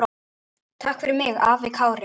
Takk fyrir mig, afi Kári.